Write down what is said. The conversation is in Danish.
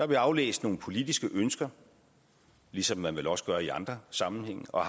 vi aflæst nogle politiske ønsker ligesom man vel også gør i andre sammenhænge og